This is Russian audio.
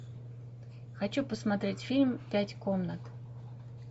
хочу посмотреть фильм пять комнат